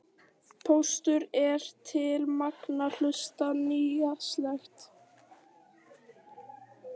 Postulín er til margra hluta nytsamlegt.